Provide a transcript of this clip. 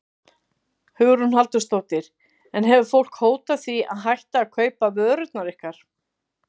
Hugrún Halldórsdóttir: En hefur fólk hótað því að hætta að kaupa vörurnar ykkar?